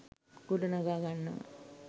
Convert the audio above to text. ගොඩනගා ගන්නවා